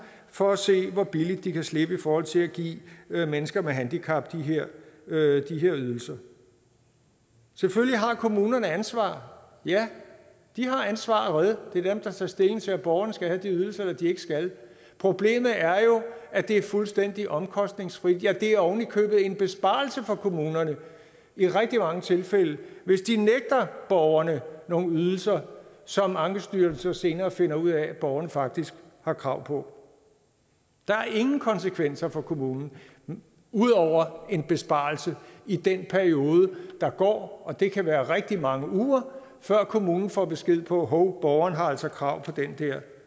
for at se hvor billigt de kan slippe i forhold til at give mennesker med handicap de her ydelser selvfølgelig har kommunerne ansvar ja det er dem der tager stilling til om borgerne skal have de ydelser eller de ikke skal problemet er jo at det er fuldstændig omkostningsfrit ja det er ovenikøbet en besparelse for kommunerne i rigtig mange tilfælde hvis de nægter borgerne nogle ydelser som ankestyrelsen så senere finder ud af at borgerne faktisk har krav på der er ingen konsekvenser for kommunen ud over en besparelse i den periode der går og det kan være rigtig mange uger før kommunen får besked på at hov borgeren har altså krav på den der